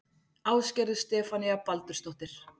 Ásgerður Stefanía Baldursdóttir